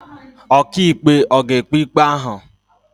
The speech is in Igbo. Ọkàikpe ọ̀ ga-ekpe ikpe ahụ?